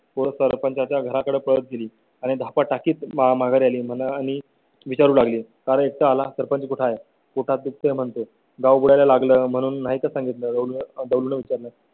पोरं सरपंचाच्या घराकडे परत गेली आणि धापा टाकीत माघारी आली आणि विचारू लागली का रे एकटा आला सरपंच कुठं आहे कुठं ती म्हणते गाव बुडायला लागलं म्हणून नाही सांगितलं. डबल विचारलं